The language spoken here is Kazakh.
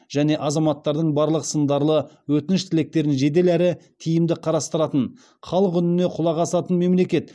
және азаматтардың барлық сындарлы өтініш тілектерін жедел әрі тиімді қарастыратын халық үніне құлақ асатын мемлекет